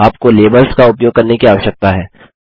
आपको लेबल्स का उपयोग करने की आवश्यकता है